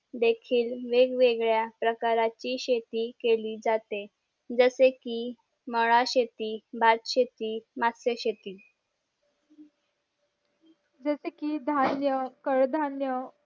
देखील वेगवेगळ्या प्रकाराची शेती केली जाते जस कि मळा शेती भात शेती मास्य शेती